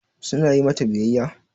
Su na yi mata biyayya?